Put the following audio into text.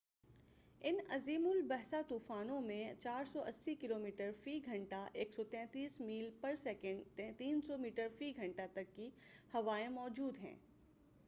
اِن عظیم الجثہ طوفانوں میں 480 کلومیٹر/گھنٹہ 133 میل/سیکنڈ؛ 300 میٹر فی گھنٹہ تک کی ہوائیں موجود ہیں۔